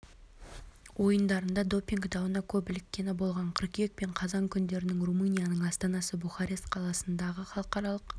ойындарында допинг дауына көп іліккені болған қыркүйек пен қазан күндері румынияның астанасы бухарест қаласындағы халықаралық